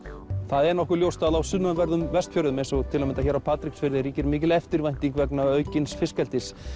það er nokkuð ljóst að á sunnanverðum Vestfjörðum eins og til að mynda hérna á Patreksfirði ríkir mikil eftirvænting vegna aukins fiskeldis